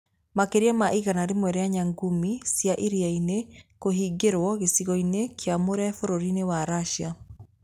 Makĩria ma igana rĩmwe rĩa nyamũngumĩ cia iria-inĩ kũhingĩirũo gĩcigo-inĩ kĩamũre Bũrũri-inĩ wa Russia